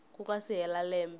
ku nga si hela lembe